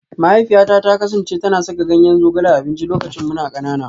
Mahaifiyata ta kasance tana saka ganyen zogale a abinci lokacin muna kanana